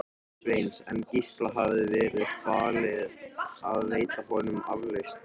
Sveins, en Gísla hafði verið falið að veita honum aflausn.